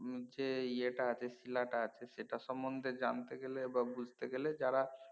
যে ইয়েটা আছে শীলাটা আছে সেটা সম্বন্ধে জানতে গেলে বা বুঝতে গেলে যারা